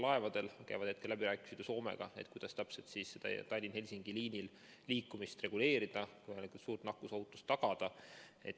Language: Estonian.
Laevade puhul käivad ju läbirääkimised Soomega, kuidas täpselt Tallinna–Helsingi liinil liikumist reguleerida ja nakkusohutust tagada.